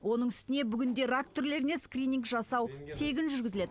оның үстіне бүгінде рак түрлеріне скрининг жасау тегін жүргізіледі